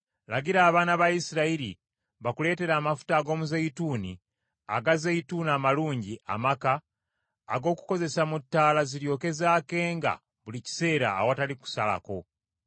“Lagira abaana ba Isirayiri bakuleetere amafuta ag’omuzeeyituuni aga zeyituuni amalungi amaka ag’okukozesa mu ttaala ziryoke zaakenga buli kiseera awatali kusalako.